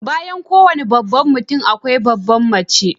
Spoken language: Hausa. Bayan kowane babban mutum akwai babbar mace.